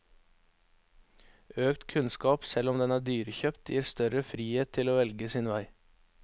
Økt kunnskap, selv om den er dyrekjøpt, gir større frihet til å velge sin vei.